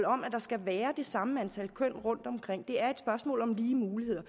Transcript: om at der skal være det samme antal køn rundtomkring det er et spørgsmål om lige muligheder